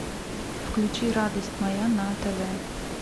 включи радость моя на тв